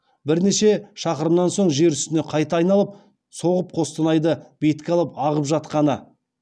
бірнеше шақырымнан соң жер үстіне қайта айналып соғып қостанайды бетке алып ағып жатқаны